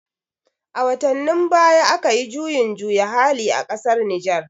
A watannin baya akayi juyin juya hali a ƙasar Nijer